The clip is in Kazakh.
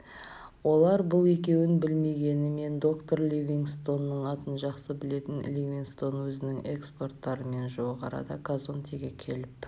олар бұл екеуін білмегенімен доктор ливингстонның атын жақсы білетін ливингстон өзінің эскорттарымен жуық арада казондеге келіп